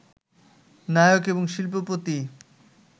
নায়ক এবং শিল্পপতি